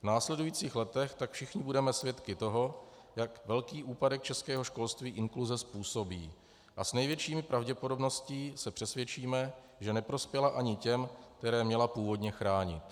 V následujících letech tak všichni budeme svědky toho, jak velký úpadek českého školství inkluze způsobí, a s největší pravděpodobností se přesvědčíme, že neprospěla ani těm, které měla původně chránit.